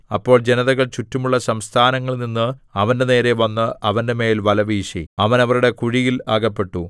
അപ്പോൾ ജനതകൾ ചുറ്റുമുള്ള സംസ്ഥാനങ്ങളിൽനിന്ന് അവന്റെനേരെ വന്ന് അവന്റെമേൽ വലവീശി അവൻ അവരുടെ കുഴിയിൽ അകപ്പെട്ടു